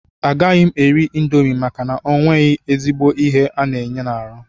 Agaghị m eri indomi maka onwe ezigbo ihe ọ na-enye n'ahụ.